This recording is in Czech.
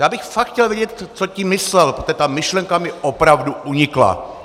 Já bych fakt chtěl vědět, co tím myslel, protože ta myšlenka mi opravdu unikla.